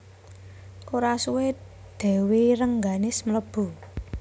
Ora suwé Dèwi Rengganis mlebu